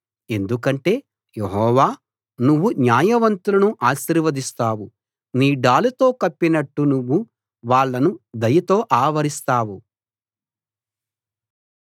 ఎందుకంటే యెహోవా నువ్వు న్యాయవంతులను ఆశీర్వదిస్తావు నీ డాలుతో కప్పినట్టు నువ్వు వాళ్ళను దయతో ఆవరిస్తావు